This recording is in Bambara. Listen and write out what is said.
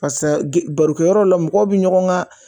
Parisa g barokɛyɔrɔ la mɔgɔw bi ɲɔgɔn ga